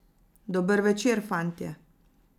Dober večer, fantje!